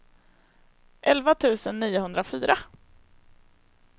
elva tusen niohundrafyra